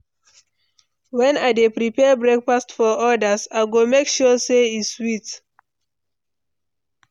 When I dey prepare breakfast for others, I go make sure say e sweet.